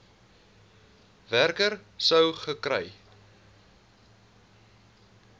werker sou gekry